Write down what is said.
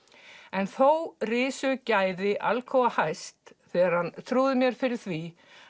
en þó risu gæði Alcoa hæst þegar hann trúði mér fyrir því